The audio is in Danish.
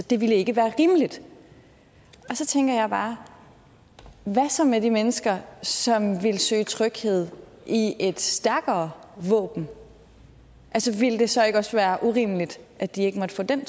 det ville ikke være rimeligt så tænker jeg bare hvad så med de mennesker som ville søge tryghed i et stærkere våben altså ville det så ikke også være urimeligt at de ikke måtte få den